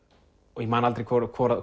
og ég man aldrei hvort